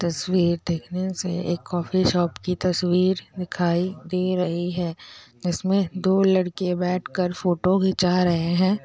तस्वीर देखने से एक कॉफी शॉप की तस्वीर दिखाई दे रही है इसमें दो लड़के बैठकर फोटो खींचा रहे है।